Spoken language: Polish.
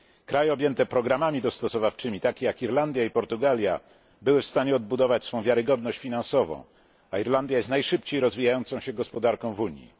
Kraje objęte programami dostosowawczymi, takie jak Irlandia i Portugalia, były w stanie odbudować swoją wiarygodność finansową, a Irlandia jest najszybciej rozwijającą się gospodarką w Unii.